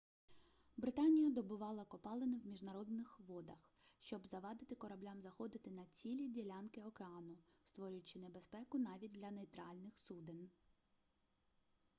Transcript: британія добувала копалини в міжнародних водах щоб завадити кораблям заходити на цілі ділянки океану створюючи небезпеку навіть для нейтральних суден